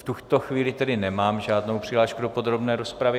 V tuto chvíli tedy nemám žádnou přihlášku do podrobné rozpravy.